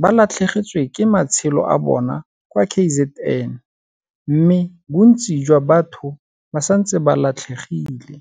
ba latlhegetswe ke matshelo a bona kwa KZN mme bontsi jwa batho ba santse ba latlhegile.